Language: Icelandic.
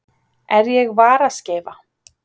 Er ég varaskeifa?